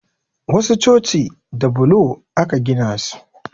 Wasu coci da bulo aka gina su